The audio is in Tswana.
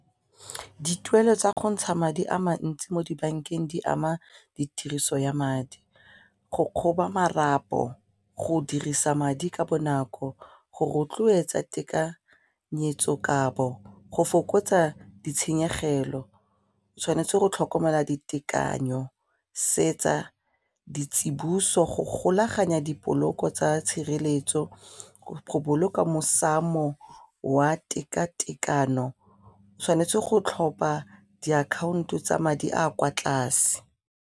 Dituelo tsa go ntsha madi a mantsi mo dibankeng di ama ditiriso ya madi, go kgoba marapo, go dirisa madi ka bonako, go rotloetsa tekanyetso kabo, go fokotsa ditshenyegelo o tshwanetse go tlhokomela ditekanyo se etsa ditsiboso go golaganya dipoloko tsa tshireletso go boloka mosamo wa tekatekano e tshwanetse go tlhopa diakhaonto tsa madi a kwa tlase.